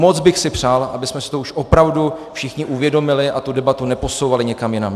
Moc bych si přál, abychom si to už opravdu všichni uvědomili a tu debatu neposouvali někam jinam.